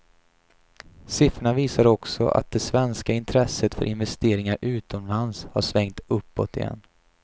Siffrorna visar också att det svenska intresset för investeringar utomlands har svängt uppåt igen.